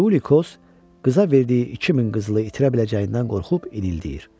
Tiuli Xoca verdiyi 2000 qızılı itirə biləcəyindən qorxub inildəyir.